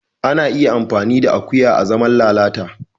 Ana iya amfani da akuya azaman lalata